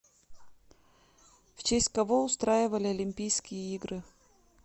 в честь кого устраивали олимпийские игры